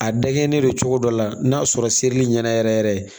A dakɛlen don cogo dɔ la n'a sɔrɔ seli ɲɛna yɛrɛ yɛrɛ